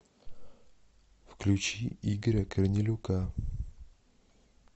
включи игоря корнелюка